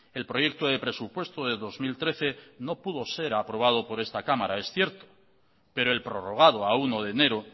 el proyecto de presupuesto de dos mil trece no pudo se aprobado por esta cámara es cierto pero el prorrogado a uno de enero